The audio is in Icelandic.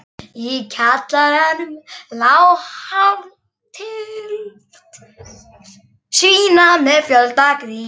Í kjallaranum lá hálf tylft svína með fjölda grísa.